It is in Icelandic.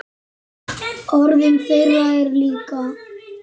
Orðum þeirra er lokið.